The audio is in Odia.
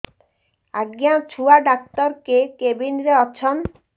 ଆଜ୍ଞା ଛୁଆ ଡାକ୍ତର କେ କେବିନ୍ ରେ ଅଛନ୍